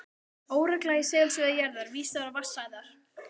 Óregla í segulsviði jarðar vísar á vatnsæðar